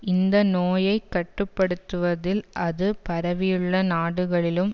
இந்த நோயை கட்டு படுத்துவதில் அது பரவியுள்ள நாடுகளிலும்